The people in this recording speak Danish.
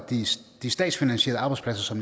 de statsfinansierede arbejdspladser